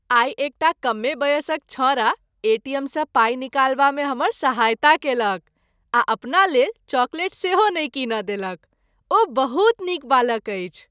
आइ एकटा कमे बयसक छौंड़ा एटीएमसँ पाई निकालबामे हमर सहायता कयलक आ अपना लेल चॉकलेट सेहो नहि कीनय देलक। ओ बहुत नीक बालक अछि।